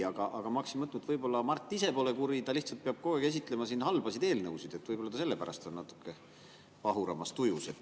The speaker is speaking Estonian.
Aga ma hakkasin mõtlema, et Mart ise ehk pole kuri, võib-olla ainult sellepärast, et ta peab kogu aeg siin esitlema halbasid eelnõusid, on natuke pahuramas tujus.